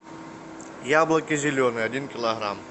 яблоки зеленые один килограмм